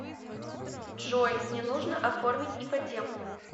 джой мне нужно оформить ипотеку